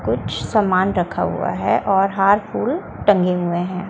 कुछ सामान रखा हुआ है और हार फूल टंगे हुए हैं।